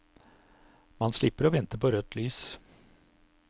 Man slipper å vente på rødt lys.